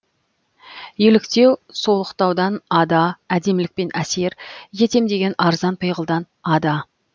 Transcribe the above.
еліктеу солықтаудан ада әдемілікпен әсер етем деген арзан пиғылдан ада